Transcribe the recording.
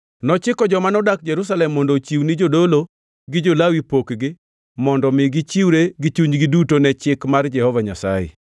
Nochiko joma nodak Jerusalem mondo ochiw ni jodolo gi jo-Lawi pokgi mondo mi gichiwre gi chunygi duto ne Chik mar Jehova Nyasaye.